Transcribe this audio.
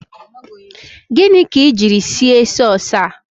Gịnị ka ị jiri sie sasua a?